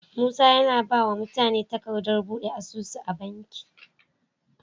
Musa yAna bawa mutane takadar buɗe asusu a banki